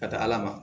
Ka taa ala ma